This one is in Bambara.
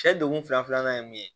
Cɛ donkun fila filanan ye mun ye